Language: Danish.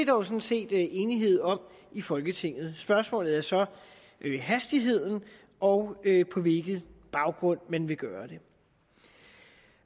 jo sådan set enighed om i folketinget spørgsmålet er så hastigheden og på hvilken baggrund man vil gøre det